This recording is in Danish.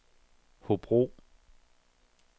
Hobro